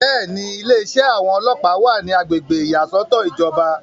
bẹ́ẹ̀ni, ilé iṣẹ́ àwọn ọlọ́ọ̀pá wà ní agbègbè ìyàsọ́tọ̀ ìjọba